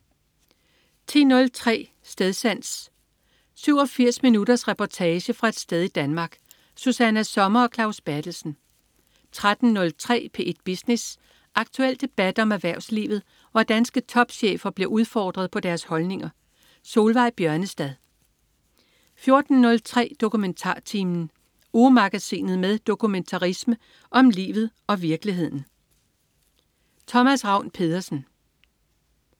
10.03 Stedsans. 87 minutters reportage fra et sted i Danmark. Susanna Sommer og Claus Berthelsen 13.03 P1 Business. Aktuel debat om erhvervslivet, hvor danske topchefer bliver udfordret på deres holdninger. Solveig Bjørnestad 14.03 DokumentarTimen. Ugemagasinet med dokumentarisme om livet og virkeligheden. Thomas Ravn-Pedersen